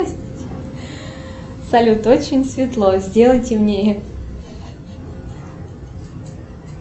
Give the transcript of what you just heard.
салют очень светло сделай темнее